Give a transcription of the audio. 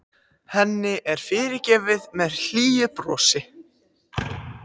Henni er fyrirgefið með hlýju brosi.